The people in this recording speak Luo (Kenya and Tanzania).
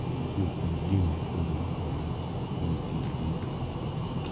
Kowuok kuom din mopogore opogore kuom kinde duto,